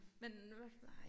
Men hvad